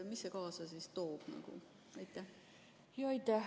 Mida see kaasa toob?